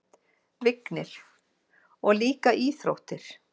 Vignir: Og líka íþróttir.